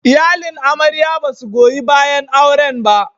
Iyalin amarya ba su goyi bayan auren ba.